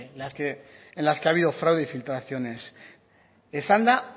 en las que ha habido fraude y filtraciones esan da